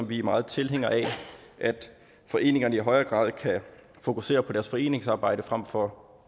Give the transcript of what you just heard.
vi er meget tilhængere af at foreningerne i højere grad kan fokusere på deres foreningsarbejde frem for